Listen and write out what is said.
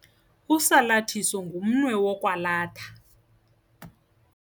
Usalathiso ngumnwe wokwalatha.